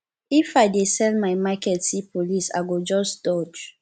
if i dey sell my market see police i go just dodge